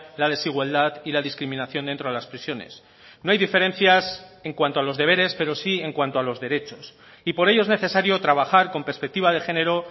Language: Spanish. la desigualdad y la discriminación dentro de las prisiones no hay diferencias en cuanto a los deberes pero sí en cuanto a los derechos y por ello es necesario trabajar con perspectiva de género